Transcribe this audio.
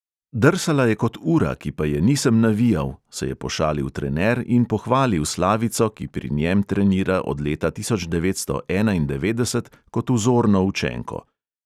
"Drsala je kot ura, ki pa je nisem navijal," se je pošalil trener in pohvalil slavico, ki pri njem trenira od leta tisoč devetsto enaindevetdeset, kot vzorno učenko.